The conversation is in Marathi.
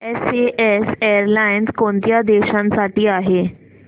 एसएएस एअरलाइन्स कोणत्या देशांसाठी आहे